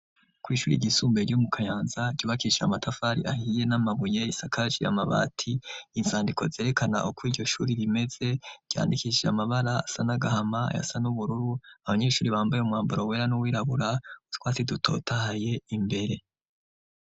ku ishuri ryisumbuye ryo mu kanyanza, ryubakishije amatafari ahiye n'amabuye, isakaje amabati, izandiko zerekana uko iryo shuri rimeze ryandikishije amabara asa n'agahama ayasa n'ubururu abanyeshuri bambaye umwambaro wera n'uwirabura utwatsi dutotahaye imbere.